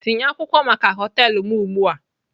Tinye akwụkwọ maka họtelu m ugbu a!